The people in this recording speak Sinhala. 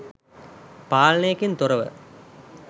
පාලනයකින් තොරව